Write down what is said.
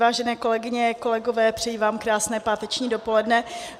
Vážené kolegyně, kolegové, přeji vám krásné páteční dopoledne.